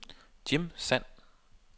Jim Sand